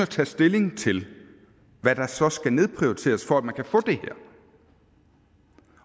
tager stilling til hvad der så skal nedprioriteres for at man kan få det